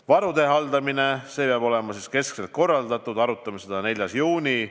Varude haldamine peab olema keskselt korraldatud, arutame seda 4. juunil.